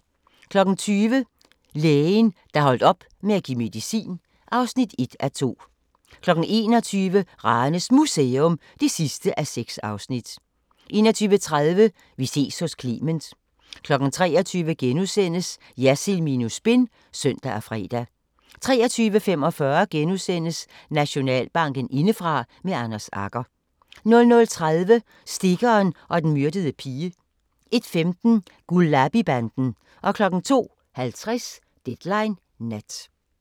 20:00: Lægen, der holdt op med at give medicin (1:2) 21:00: Ranes Museum (6:6) 21:30: Vi ses hos Clement 23:00: Jersild minus spin *(søn og fre) 23:45: Nationalbanken indefra – med Anders Agger * 00:30: Stikkeren og den myrdede pige 01:15: Gulabi-banden 02:50: Deadline Nat